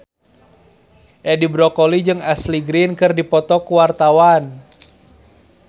Edi Brokoli jeung Ashley Greene keur dipoto ku wartawan